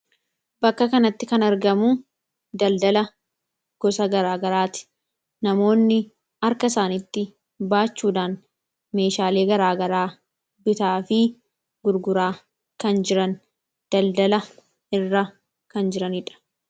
bakka kanatti kan argamu daldala gosa garaagaraati namoonni arka isaantti baachuudaan meeshaalii garaagaraa bitaa fi gurguraa kan jiran daldala irra kan jiraniidha